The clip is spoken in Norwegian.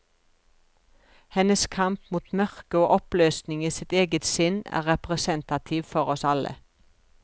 Hennes kamp mot mørke og oppløsning i sitt eget sinn er representativ for oss alle.